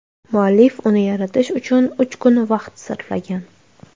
Muallif uni yaratish uchun uch kun vaqt sarflagan.